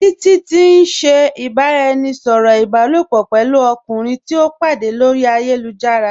Títití n ṣẹ̀ ìbàráẹnisọ̀rọ̀ ìbàlòpọ̀ pẹ̀lú ọ̀kùnrin tìí o pàdé lórí ayélujára.